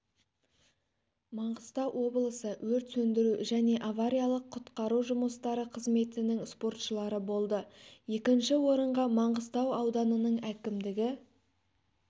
маңғыстау облысы өрт сөндіру және авариялық-құтқару жұмыстары қызметінің спортшылары болды екінші орынға маңғыстау ауданының әкімдігі